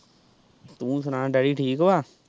ਤੂੰ ਸੁਣਾ ਡੈਡੀ ਠੀਕ ਵਾ।